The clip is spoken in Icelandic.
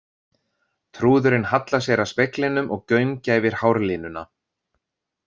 Trúðurinn hallar sér að speglinum og gaumgæfir hárlínuna.